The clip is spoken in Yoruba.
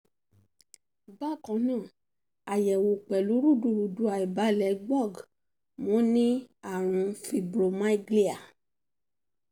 bákan náà ayẹwo pẹlu rudurudu aibalẹ gbog mo ní àrùn fibromyalgia